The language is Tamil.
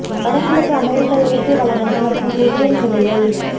வடகிழக்கு அமெரிக்க இயற்கை வளங்களை மற்றும் புவியியல் நிலையை